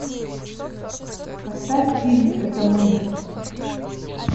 поставь фильм это мы